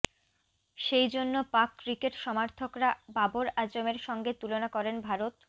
সেইজন্য পাক ক্রিকেট সমর্থকরা বাবর আজমের সঙ্গে তুলনা করেন ভারত